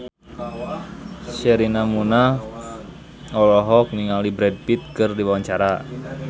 Sherina Munaf olohok ningali Brad Pitt keur diwawancara